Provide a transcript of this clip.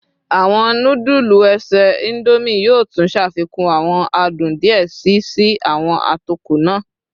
Awọn nudulu ese Indomie yoo tun ṣafikun awọn adun diẹ sii si awọn atokọ naa